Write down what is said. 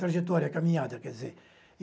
Trajetória, caminhada, quer dizer.